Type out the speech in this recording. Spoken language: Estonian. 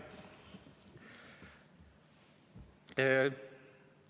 Aitäh!